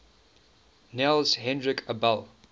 niels henrik abel